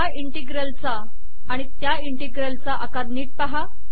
या इंटिग्रल चा आणि त्या इंटिग्रल चा आकार नीट पहा